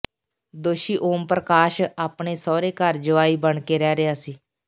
ਦੋਸ਼ੀ ਓਮ ਪ੍ਰਕਾਸ਼ ਆਪਣੇ ਸਹੁਰੇ ਘਰ ਜੁਆਈ ਬਣ ਕੇ ਰਹਿ ਰਿਹਾ ਸੀ